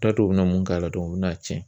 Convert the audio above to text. T'a dɔn u bɛ mun k'a la u bɛ n'a cɛn